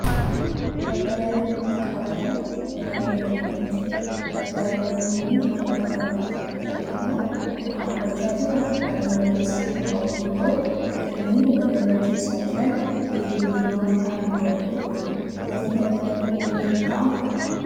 Dabtara yaadannoo itti qabatan walirra naqamanii jiru. Dabtaroonni kunneen halluu adda addaa qabu. fakkeenyaaf kan dhaabbachaa jiru halluu magariisa kan qabu yoo ta'uu kanneen waliirra ciisaa jiran keelloo, diimaa fi halluwwan biroodha. Gatiin Dabtara tokkoo meeqa ta'a?